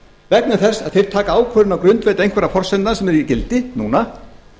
vegna þess að þeir taka ákvörðun á grundvelli einhverra forsendan sem eru í gildi núna